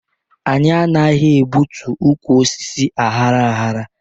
Anyị anaghị egbu ụkwụ osisi aghara aghara